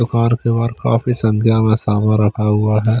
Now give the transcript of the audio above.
रखा हुआ है।